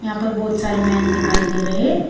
ऊपर बहुत सारे मैन दिखाई दे रहे।